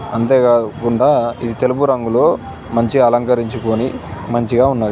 అంతేకా-కుండా ఈ తెలుపు రంగులో మంచిగా అలంకరించుకొని మంచిగా ఉన్నది.